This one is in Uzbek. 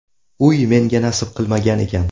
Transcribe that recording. Uy menga nasib qilmagan ekan.